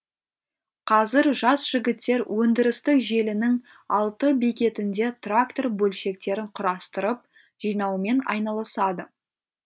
қазір жас жігіттер өндірістік желінің алты бекетінде трактор бөлшектерін құрастырып жинаумен айналысады